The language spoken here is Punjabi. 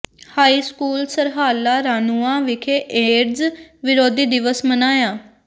ਹਾਈ ਸਕੂਲ ਸਰਹਾਲਾ ਰਾਣੂੰਆਂ ਵਿਖੇ ਏਡਜ਼ ਵਿਰੋਧੀ ਦਿਵਸ ਮਨਾਇਆ